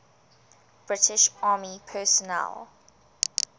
british army personnel